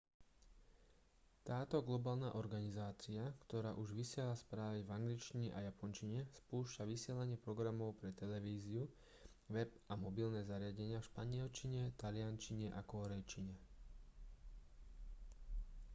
táto globálna organizácia ktorá už vysiela správy v angličtine a japončine spúšťa vysielanie programov pre televíziu web a mobilné zariadenia v španielčine taliančine a kórejčine